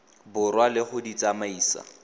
borwa le go di tsamaisa